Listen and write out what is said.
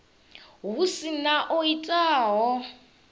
hu si na o itaho